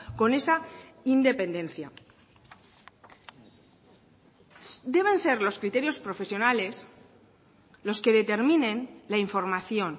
con esa independencia deben ser los criterios profesionales los que determinen la información